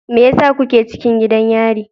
Me yasa kuke cikin gidan yari?